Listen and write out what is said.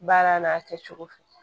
Baara n'a kɛ cogo fɛ